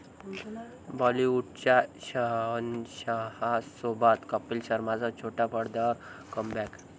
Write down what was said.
बाॅलिवूडच्या शहेनशहासोबत कपिल शर्माचं छोट्या पडद्यावर कमबॅक